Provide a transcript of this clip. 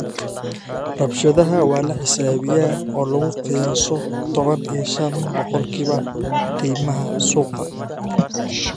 "Rabshadaha waa la xisaabiyaa, oo lagu qiyaaso toban iyo shan boqolkiiba qiimaha suuqa.